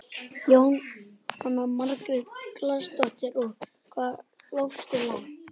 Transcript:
Jóhanna Margrét Gísladóttir: Og hvað hljópstu langt?